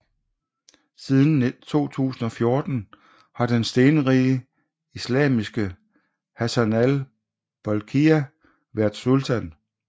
Siden 2014 har den stenrige islamistiske Hassanal Bolkiah været sultan